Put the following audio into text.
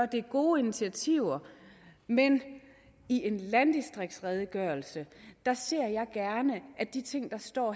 de gode initiativer men i en landdistriktsredegørelse ser jeg gerne at de ting der står